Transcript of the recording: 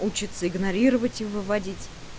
учиться игнорировать и выводить